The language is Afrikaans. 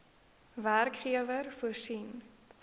werkgewer voorsien